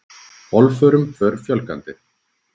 Bálförum fer fjölgandi